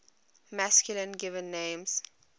masculine given names